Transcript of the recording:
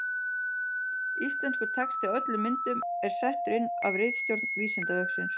Íslenskur texti á öllum myndum er settur inn af ritstjórn Vísindavefsins.